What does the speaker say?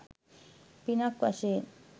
පිනක් වශයෙන්.